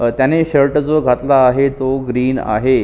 अ त्याने शर्ट जो घातला आहे तो ग्रीन आहे.